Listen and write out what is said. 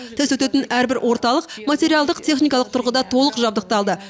тест өтетін әрбір орталық материалдық техникалық тұрғыда толық жабдықталды